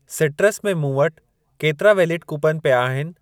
Citrus में मूं वटि केतिरा वेलिड कूपन पिया आहिनि?